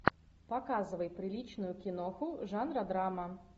показывай приличную киноху жанра драма